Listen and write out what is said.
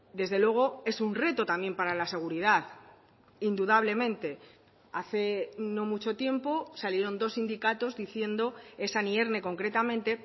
desde luego es un reto también para la seguridad indudablemente hace no mucho tiempo salieron dos sindicatos diciendo esan y erne concretamente